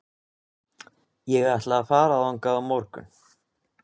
Ég ætla að fara þangað á morgun.